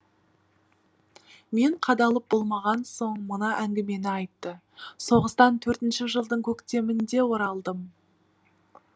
мен қадалып болмаған соң мына әңгімені айтты соғыстан төртінші жылдың көктемінде оралдым